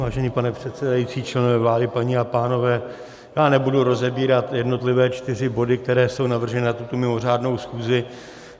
Vážený pane předsedající, členové vlády, paní a pánové, já nebudu rozebírat jednotlivé čtyři body, které jsou navrženy na tuto mimořádnou schůzi.